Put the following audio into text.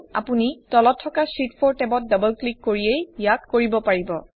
আপুনি তলত থকা শীত 4 টেবত ডাবল ক্লিক কৰিয়েই ইয়াক কৰিব পাৰে